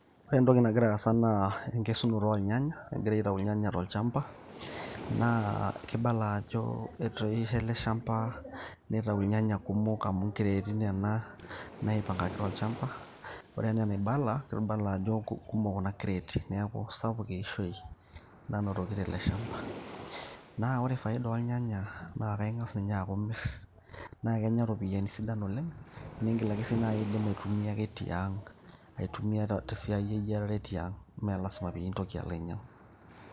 Ore entoki nagira aasa naa enkesurote oornyanya egirai akesu tolchamba ,naa kibala ajo etuunishe eleshampa nitau irnyanya kumok amu nkereti kuna naipangaki tolchamba ore entoki naibala na kekumok kuna kreti neaku sapuk eishoi nanotoki teleshampa ,na ore faida ornyanya na kenya ropiyani oleng kesapuk amu na kenya ropiyani sidan oleng. Niindim si nai ake ashomo atuuno teang ,netumi esiai eyiarare tiang mintoki alo ainyangu.